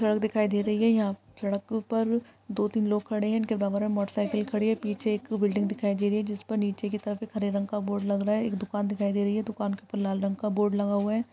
सड़क दिखाई दे रही है यहाँ सड़क के ऊपर दो तीन लोग खड़े है इनके बराबर मे एक मोटर साइकिल खड़ी है पीछे एक बिल्डिंग दिखाई दे रही है जिस पर नीचे की तरफ एक हरे रंग का बोर्ड लग रहा है एक दुकान दिखाई दे रही है दुकान के ऊपर लाल रंग का बोर्ड लगा हुआ है।